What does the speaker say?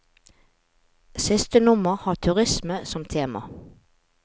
Siste nummer har turisme som tema.